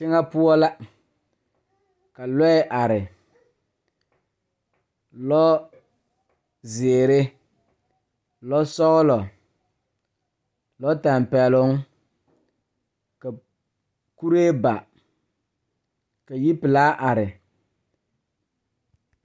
Teŋɛ poɔ la ka lɔɛ are lɔɔzeere lɔsɔglɔ lɔtɛmpɛloŋ ka kuree ba ka yipelaa are.